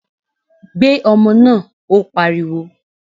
Gbé ọmọ náà! Ó pariwo.